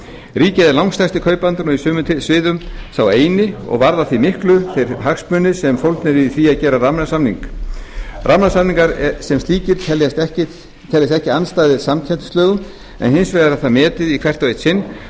ríkið er langstærsti kaupandinn og á sumum sviðum sá eini og varða því miklu þeir hagsmunir sem eru fólgnir í því að gera rammasamning rammasamningar sem slíkir teljast ekki andstæðir samkeppnislögum en hins vegar er það metið í hvert og eitt sinn